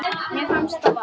Mér fannst það bara.